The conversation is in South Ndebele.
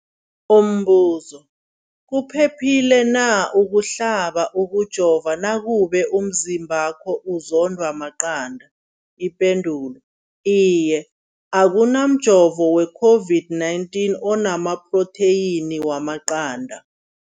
Umbuzo, kuphephile na ukuhlaba, ukujova nakube umzimbakho uzondwa maqanda. Ipendulo, Iye. Akuna mjovo we-COVID-19 ona maphrotheyini wamaqanda.